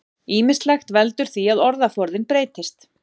Ýmislegt veldur því að orðaforðinn breytist.